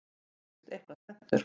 Ég er víst eitthvað spenntur.